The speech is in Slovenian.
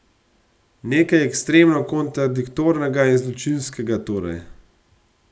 Nekaj ekstremno kontradiktornega in zločinskega torej.